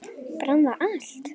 Brann það allt?